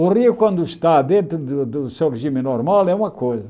O rio, quando está dentro do do seu regime normal, é uma coisa.